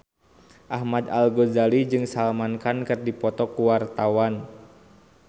Ahmad Al-Ghazali jeung Salman Khan keur dipoto ku wartawan